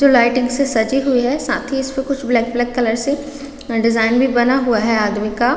जो लाइटिंग से सजी हुई है साथ ही इसपे कुछ ब्लैक -ब्लैक कलर से डिज़ाइन भी बना हुआ है आदमी का--